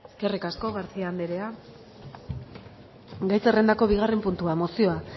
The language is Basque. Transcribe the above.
eskerrik asko garcía anderea gai zerrendako bigarren puntua mozioa